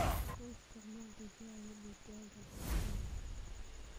U isticmaal digada digaaga beertaada.